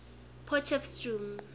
potchefstroom